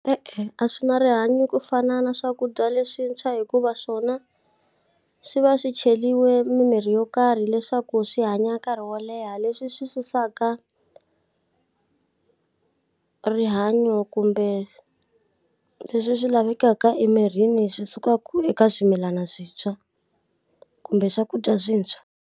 E-e, a swi na rihanyo ku fana na swakudya leswintshwa hikuva swona, swi va swi cheriwe mimirhi yo karhi leswaku swi hanya nkarhi wo leha leswi swi susaka rihanyo kumbe leswi swi lavekaka emirini swi sukaka eka swimilana swintshwa, kumbe swakudya swintshwa.